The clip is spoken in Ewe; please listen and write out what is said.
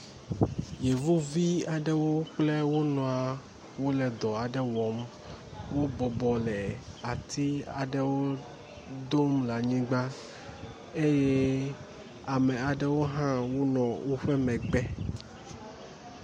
Yevuvi aɖewo kple wonɔ wole dɔ aɖe wɔm, wobɔbɔ le ati aɖewo dom le anyigba eye ame aɖewo hã le wome gbe